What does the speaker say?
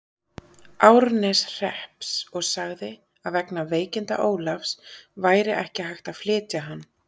Árneshrepps og sagði, að vegna veikinda Ólafs væri ekki hægt að flytja hann.